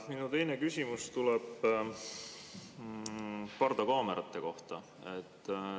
Minu teine küsimus tuleb pardakaamerate kohta.